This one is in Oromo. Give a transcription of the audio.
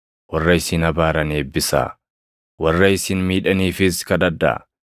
warra isin abaaran eebbisaa; warra isin miidhaniifis kadhadhaa.